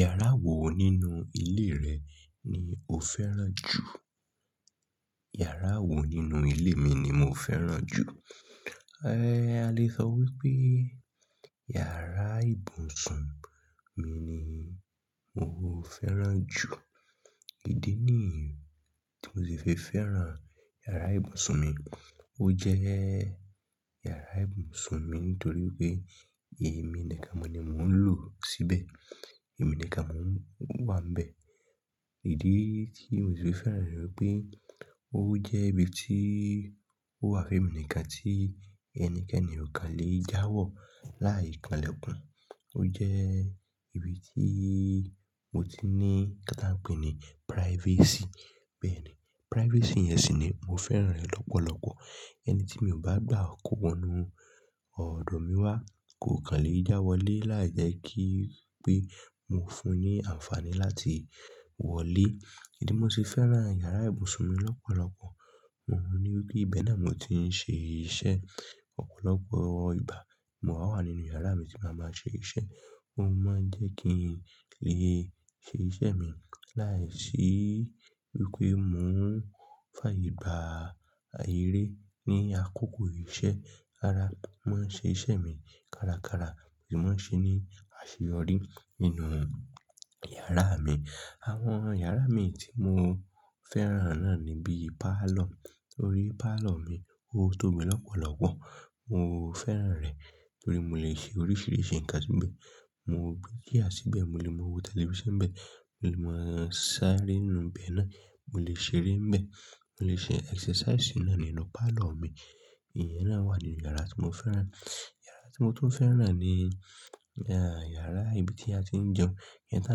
Yàrá wo nínú ilé rẹ̀ ni o fẹ́ràn jù? Yàrá wo nínú ilé mi ni mo fẹ́ràn jù? A lè sọ wípé yàrá ìbùsùn mi ni mo fẹ́ràn jù. Ídi yi tí mo ṣe fi fẹ́ràn yàrá ìbùsùn mi? Ó jẹ́ yàrá ìbùsùn mi nítorí pé èmi nìkan mo ni mò ń lò síbẹ̀, èmi nìkan mó ń wà níbẹ̀. Idi tí mo ṣe fẹ́ràn rẹ̀ pé ó jẹ́ ibi tí ó wà fún èmi nìkan tí ẹnikẹ́ni ò kàn lè jáwọ́ láì kanlẹ̀kan. Ó jẹ́ ibi tí mo ti ní kí a pè é ní privacy. Bẹ́ẹ̀ ni, privacy yẹn sì ni mo fẹ́ràn rẹ̀ lọ́pọ̀lọpọ̀. Ẹni tí mi ò bá gbà kógbónu ọ̀rọ̀ mi wá kò kàn lè jáwọ́ lé láì jẹ́ kí pé mo fún un ní àǹfààní láti wọlé. Idi yi mo ṣe fẹ́ràn yàrá ìbùsùn mi lọ́pọ̀lọpọ̀? Wọ́n ní wípé ibẹ̀ ni mò tí ń ṣe iṣẹ́. Ọ̀pọ̀lọpọ̀ ìgbà mo máa ń wà nínú yàrá mi tí màá máa ṣe iṣẹ́. Ó máa ń jẹ́ kí n lè ṣe ìṣe mi láìsí wípé mò ń fà aye gbà ayé rí ní àkókò iṣẹ́. Ara máa ń ṣe iṣẹ́ mi kárakára sì máa ń ṣe é ní àṣeyọrí nínú yàrá mi. Àwọn yàrá mi tí mo fẹ́ràn náà ni bíi parlour, torí parlour mi ó tóbi lọ́pọ̀lọpọ̀. Mo fẹ́ràn rẹ̀ torí mo lè ṣe oríṣiríṣi ǹkan síbẹ̀. Mo gbé chair síbẹ̀, mo lè wo tẹlifíṣàn síbẹ̀, mo lè máa sáré nù bí ẹ náà, mo lè ṣeré ńbẹ̀, mo lè ṣe exercise náà nínú parlour mi. Ìyẹn náà wà nínú yàrá tí mo fẹ́ràn. Yàrá tí mo tún fẹ́ràn ni yàrá ibi tí a ti ń jẹun, iyẹn tí à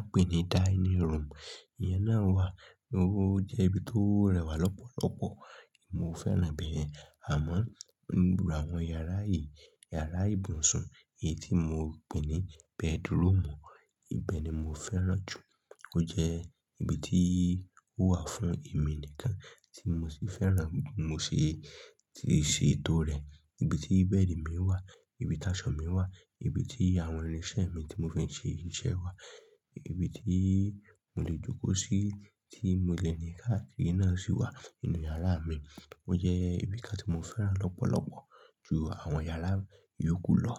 ń pè ní dining room. Iyẹn náà wà, ó jẹ́ ibi tó rẹwà lọ́pọ̀lọpọ̀. Mo fẹ́ràn ibẹ̀yen Àmọ́ nínú àwọn yàrá yìí, yàrá ìbùsùn, èyí tí mo pè ní bedroom, ibẹ̀ ni mo fẹ́ràn jù. Ó jẹ́ ibi tí ó wà fún èmi nìkan tí mo sì fẹ́ràn, mo sì ti ṣe ètò rẹ̀. Ibi tí bẹ́ẹ̀dì mi wà, ibi táṣọ̀ mi wà, ibi tí àwọn irinṣẹ́ mi tí mò fé ń ṣe iṣẹ́ wà, ibi tí mò lè jókòó sí tí mo le ni káàkiri náà sì wà nínú yàrá mi. Ó jẹ́ ibi kan tí mo fẹ́ràn lọ́pọ̀lọpọ̀ ju àwọn yàrá ìyókù lọ.